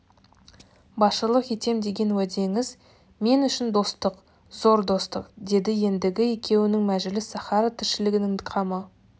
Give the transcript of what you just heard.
басшылық етем деген уәдеңіз мен үшін достық зор достық деді ендігі екеуінің мәжіліс сахара тіршілігінің қамы